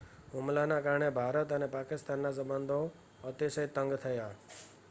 હુમલાના કારણે ભારત અને પાકિસ્તાનના સંબંધો અતિશય તંગ થયા